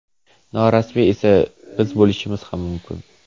Norasmiyi esa biz bo‘lishimiz ham mumkin.